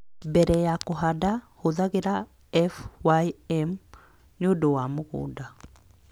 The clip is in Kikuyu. mbere ya kũhanda, hũthagĩra F.Y.M. Nĩ ũndũ wa mũgũnda